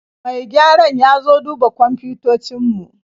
Mai gyaran ya zo duba kwamfutocin mu